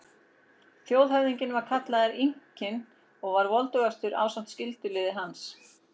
Þjóðhöfðinginn var kallaður Inkinn og var voldugastur ásamt skyldulið hans.